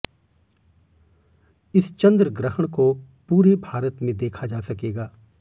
इस चंद्र ग्रहण को पूरे भारत में देखा जा सकेगा